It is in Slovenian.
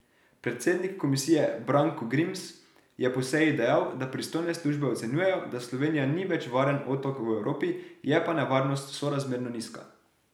Predsednik komisije Branko Grims je po seji dejal, da pristojne službe ocenjujejo, da Slovenija ni več varen otok v Evropi, je pa nevarnost sorazmerno nizka.